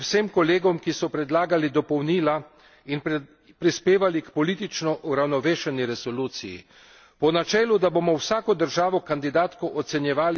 Rad bi se zahvalil vsem poročevalcem v senci in vsem kolegom, ki so predlagali dopolnila in prispevali k politično uravnovešeni resoluciji.